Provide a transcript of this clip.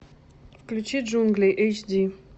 включи джунгли эйч ди